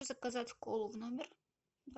заказать колу в номер